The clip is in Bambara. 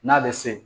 N'a bɛ se